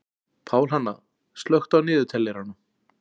Pálhanna, slökktu á niðurteljaranum.